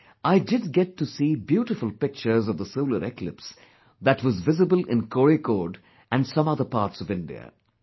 Though, I did get to see beautiful pictures of the solar eclipse that was visible in Kozhikode and some other parts of India